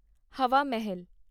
ਹਵਾ ਮਹਿਲ